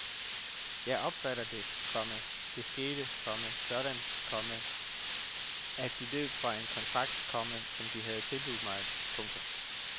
Jeg opfatter det, komma der skete, komma sådan, komma at de løb fra en kontrakt, komma som de havde tilbudt mig. punktum